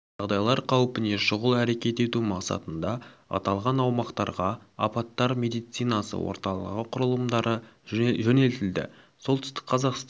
жағдайлар қаупіне шұғыл әрекет ету мақсатында аталған аумақтарға апаттар медицинасы орталығы құрылымдары жөнелтілді солтүстік қазақстан